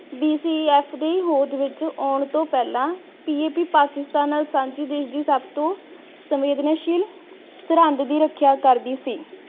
DCF ਦੀ ਹੋਂਦ ਵਿਚ ਆਉਣ ਤੋੰ ਪਹਿਲਾਂ PAP ਪਾਕਿਸਤਾਨ ਨਾਲ ਸਾਂਝੀ ਦੇਸ਼ ਦੀ ਸਭ ਤੋਂ ਸੰਵੇਦਨਸ਼ੀਲ ਸਰਹੰਦ ਦੀ ਰੱਖਿਆ ਕਰਦੀ ਸੀ।